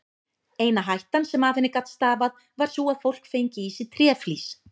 Eina hættan sem af henni gat stafað var sú að fólk fengi í sig tréflís.